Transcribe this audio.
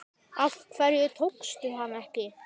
Af hverju tókstu hana ekki?